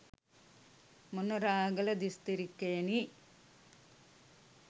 Monaragala දිස්ත්‍රික්කයෙනි.